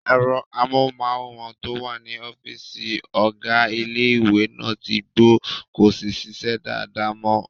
Ẹ̀rọ amóhùnmáwòrán tó wà ní ọ́fìsì ọ̀gá ilé-ìwé náà tí gbó, kò sí ṣíṣe dáadáa mọ